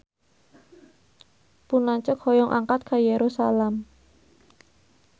Pun lanceuk hoyong angkat ka Yerusalam